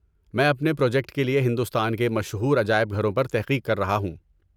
میں اپنے پراجیکٹ کے لیے ہندوستان کے مشہور عجائب گھروں پر تحقیق کر رہا ہوں۔